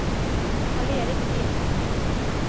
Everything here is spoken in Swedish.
Karl-Erik Lindh